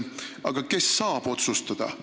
Aga kes saab otsustada?